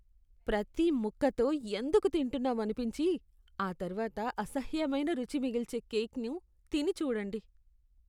ప్రతి ముక్కతో ఎందుకు తింటున్నాం అనిపించి, ఆ తర్వాత అసహ్యమైన రుచి మిగిల్చే కేక్ను తిని చూడండి